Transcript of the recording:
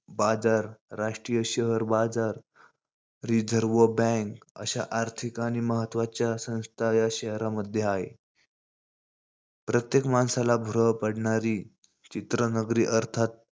बाजार, राष्ट्रीय शहर बाजार, रिझर्व बॅंक अश्या आर्थिक आणि महत्वाच्या संस्था या शहरामधे आहे. प्रत्येक माणसाला भुरळ पाडणारी चित्रनगरी अर्थात,